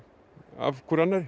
af hvor